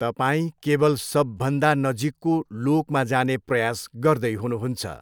तपाईँ केवल सबभन्दा नजिकको लोकमा जाने प्रयास गर्दै हुनुहुन्छ।